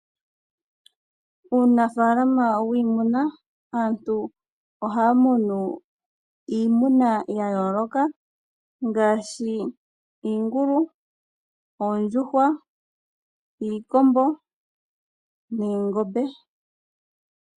Uunafaalama wiimuna Aantu ohaya munu iimuna ya yooloka ngaashi: iingulu, oondjuhwa, iikombo noongombe.